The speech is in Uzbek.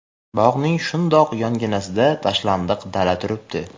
bog‘ning shundoq yonginasida tashlandiq dala turibdi.